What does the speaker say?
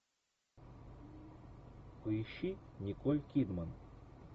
поищи николь кидман